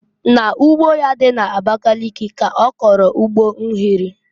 N'ugbo ya dị n'Abakịlịkị ka ọ kọlụ ugbo unere.